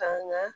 Ka n ka